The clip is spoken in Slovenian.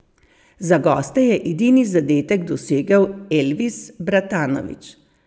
Za goste je edini zadetek dosegel Elvis Bratanović.